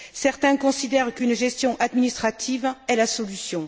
Certains considèrent qu'une gestion administrative est la solution.